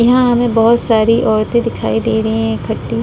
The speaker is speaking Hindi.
यहां हमें बोहोत सारी औरतें दिखाई दे रही हैं इकट्ठी।